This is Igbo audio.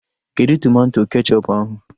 Kedụ tomato kechọpu ahụ?